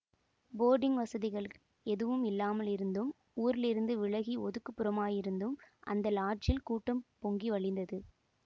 boarding வசதிகள் எதுவும் இல்லாமல் இருந்தும் ஊரிலிருந்து விலகி ஒதுக்குப் புறமாயிருந்தும் அந்த லாட்ஜில் கூட்டம் பொங்கி வழிந்தது